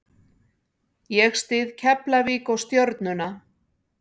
Ég styð Keflavík og Stjörnuna.